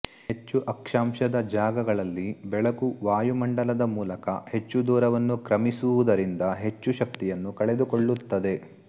ಹೆಚ್ಚು ಅಕ್ಷಾಂಶದ ಜಾಗಗಳಲ್ಲಿ ಬೆಳಕು ವಾಯುಮಂಡಲದ ಮೂಲಕ ಹೆಚ್ಚು ದೂರವನ್ನು ಕ್ರಮಿಸುವುದರಿಂದ ಹೆಚ್ಚು ಶಕ್ತಿಯನ್ನು ಕಳೆದುಕೊಳ್ಳುತ್ತದೆ